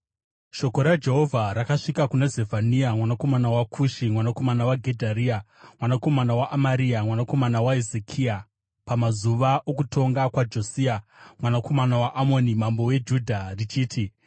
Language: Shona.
Shoko raJehovha rakasvika kuna Zefania, mwanakomana waKushi, mwanakomana waGedharia, mwanakomana waAmaria, mwanakomana waHezekia, pamazuva okutonga kwaJosia mwanakomana waAmoni mambo weJudha richiti: